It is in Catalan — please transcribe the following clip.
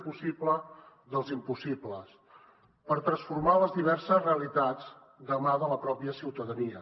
el possible i l’impossible per transformar les diverses realitats de mà de la pròpia ciutadania